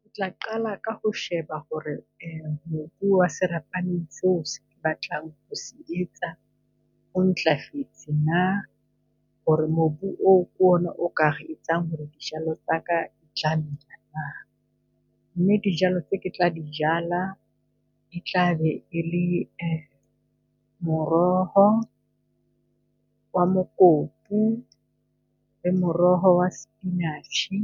Ke tla qala ka ho sheba hore uh mobu wa serapaneng seo se ke se batlang ho etsa o ntlafetse naa. Hore mobu oo kona o tla etsang hore dijalo tsa ka di tla nna. Mme dijalo tse ke tla di jala e tlabe e le uh moroho wa mokopu, le moroho wa spinach-e,